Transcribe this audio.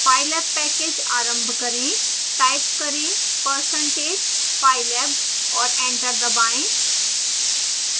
pylab package आरंभ करें